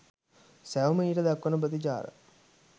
සැවොම ඊට දක්වන ප්‍රතිචාර